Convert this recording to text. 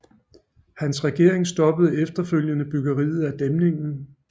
Hans regering stoppede efterfølgende byggeriet af dæmningen